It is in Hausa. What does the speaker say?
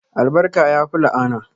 Albarka yafi la'ana